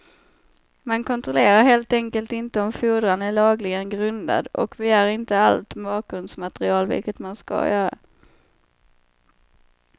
Man kontrollerar helt enkelt inte om fordran är lagligen grundad och begär inte allt bakgrundsmaterial vilket man skall göra.